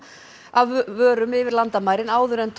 af vörum yfir landamærin áður en